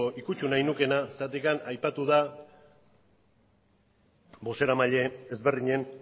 nahi nukeena zergatikan aipatu da bozeramaile ezberdinen